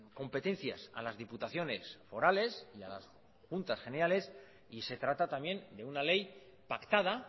competencias a las diputaciones forales y a las juntas generales y se trata también de una ley pactada